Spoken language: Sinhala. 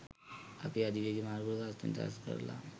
අපි අධිවේගී මාර්ගවල ගාස්තු නිදහස් කරලා